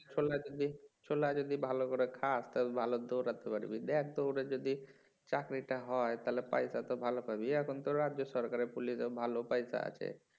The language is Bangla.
ছোলা যদি ছোলা যদি ভালো করে খাস তাহলে ভালো দৌড়াতে পারবি দেখ দৌড়ে যদি চাকরিটা হয় তাহলে পয়সা তো ভালো পাবি আর এখন তো রাজ্য সরকারের পুলিশে ভালো পয়সা আছে